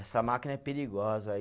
Essa máquina é perigosa, aí